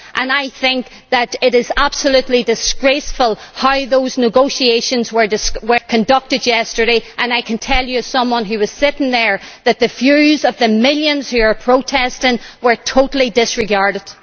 I think that it is absolutely disgraceful how those negotiations were conducted yesterday and I can tell you, as someone who was sitting there, that the views of the millions who are protesting were totally disregarded.